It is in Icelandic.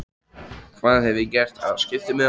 Hvað hef ég gert af skiptimiðanum?